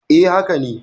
E, haka ne.